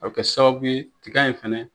A bɛ kɛ sababu ye tiga in fana